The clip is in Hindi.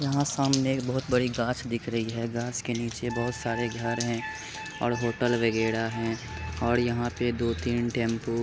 सामने बहुत बड़ी घास दिख रही है घास के नीचे बहुत सारी घर है और होटल वगयरा है और दो तीन टेम्पो| --